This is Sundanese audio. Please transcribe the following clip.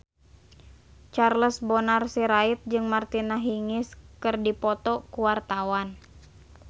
Charles Bonar Sirait jeung Martina Hingis keur dipoto ku wartawan